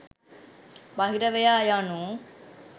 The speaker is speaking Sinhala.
බහිරවයා යනු